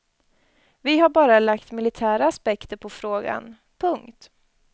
Vi har bara lagt militära aspekter på frågan. punkt